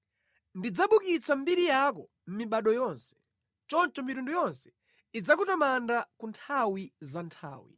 Ndidzabukitsa mbiri yako mʼmibado yonse; choncho mitundu yonse idzakutamanda ku nthawi za nthawi.